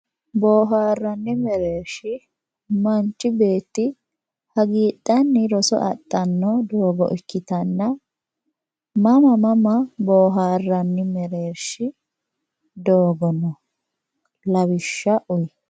boohaarranni mereershi manchi beetti hagiidhanni roso adhanno base ikkitanna mama mama boohaarranni mereershi doogo no lawishsha uyi?